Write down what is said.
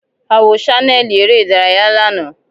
A wo ṣaneli ere idaraya lana.